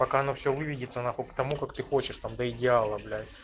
пока оно все выведется нахуй к тому как ты хочешь там до идеала бля